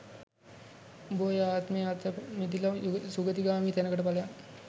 උඹ ඔය ආත්මෙන් අත මිදිලා සුගතිගාමී තැනකට පලයන්